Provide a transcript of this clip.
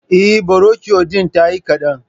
Eh, burokiyo din tayi kaɗan